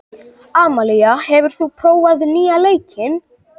Amalía, hefur þú prófað nýja leikinn?